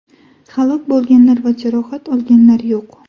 Halok bo‘lganlar va jarohat olganlar yo‘q.